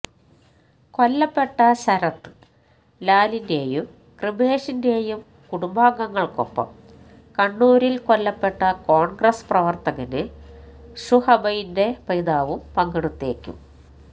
കൊല്ലപ്പെട്ട ശരത് ലാലിന്റെയും കൃപേഷിന്റെയും കുടുംബാഗങ്ങള്ക്കൊപ്പം കണ്ണൂരില് കൊല്ലപ്പെട്ട കോൺഗ്രസ് പ്രവർത്തകന് ഷുഹൈബിന്റെ പിതാവും പങ്കെടുത്തേക്കും